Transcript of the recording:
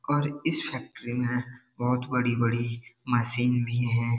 और इस फैक्ट्री में बहोत बड़ी-बड़ी मशीन भी हैं।